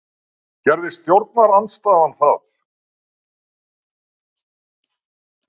Gerði stjórnarandstaðan það?